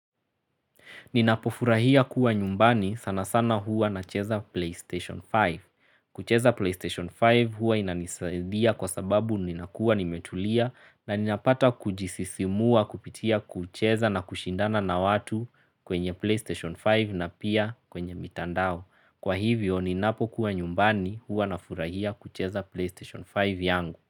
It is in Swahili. Ninapofurahia kuwa nyumbani sana sana hua na cheza PlayStation 5. Kucheza PlayStation 5 hua inanisaidia kwa sababu ninakua nimetulia na ninapata kujisisimua kupitia kucheza na kushindana na watu kwenye PlayStation 5 na pia kwenye mitandao. Kwa hivyo ninapokuwa nyumbani hua na furahia kucheza PlayStation 5 yangu.